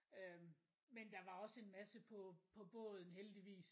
Øh men der var også en masse på på båden heldigvis